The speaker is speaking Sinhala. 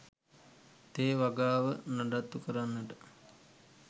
තේ වගාව නඩත්තු කරන්නට